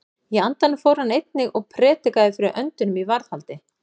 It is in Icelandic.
Í andanum fór hann einnig og prédikaði fyrir öndunum í varðhaldi.